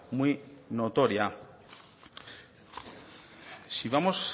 muy notoria si vamos